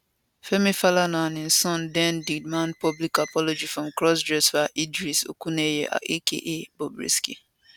femi falana and im son den demand public apology from crossdresser idris okuneye aka bobrisky